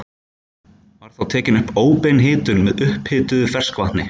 Var þá tekin upp óbein hitun með upphituðu ferskvatni.